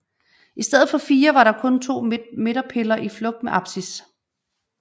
I stedet for fire var der kun to midterpiller i flugt med apsis